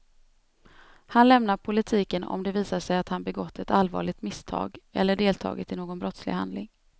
Han lämnar politiken om det visar sig att han begått ett allvarligt misstag eller deltagit i någon brottslig handling.